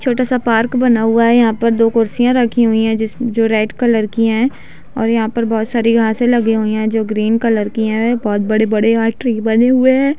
छोटा सा पार्क बना हुआ है यहाँ पर दो कुर्सिया रखी हुई है जिस जो रेड कलर की है और यहाँ पर बहोत सारी घासे लगी हुई है जो ग्रीन कलर की है बहोत बड़े-बड़े यहाँ ट्री बनी हुए हैं।